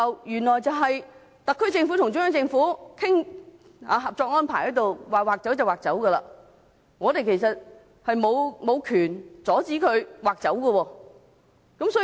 原來特區政府和中央政府討論《合作安排》時，說劃出便劃出，我們沒有權阻止政府這樣做。